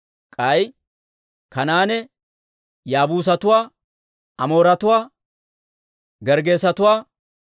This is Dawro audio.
k'ay Kanaane Yaabuusatuwa, Amooretuwaa, Gerggeesetuwaa,